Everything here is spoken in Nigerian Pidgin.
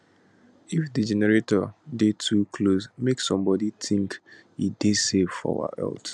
if di generator dey too close make sombodi tink e dey safe for our health